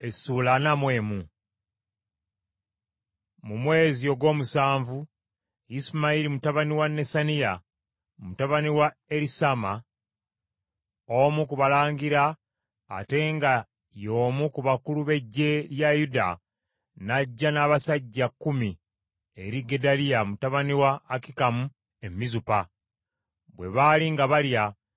Mu mwezi ogw’omusanvu Isimayiri mutabani wa Nesaniya, mutabani wa Erisaama, omu ku balangira ate nga ye omu ku bakulu b’eggye lya Yuda n’ajja n’abasajja kkumi eri Gedaliya mutabani wa Akikamu e Mizupa. Bwe baali nga balya,